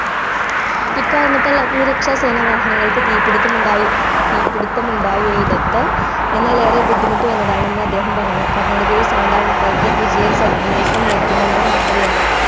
ഈ കാരണത്താൽ അഗ്നി രക്ഷാ വാഹനങ്ങൾ തീ പിടിത്തം ഉണ്ടായയെടുത്ത് എന്നാൽ ഏറെ ബുദ്ധിമുട്ട് വന്നതാണെന്ന് അദ്ദേഹം പറഞ്ഞു കർണാടകയിൽ sondra infratech vigilance അനേഷണം നേരിടുന്നെന്ന് വാർത്തകൾ ഉണ്ട്